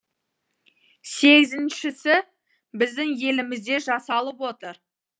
сегізіншісі біздің елімізде жасалып отыр